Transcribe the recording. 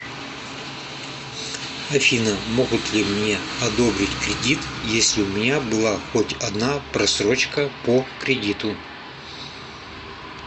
афина могут ли мне одобрить кредит если у меня была хоть одна просрочка по кредиту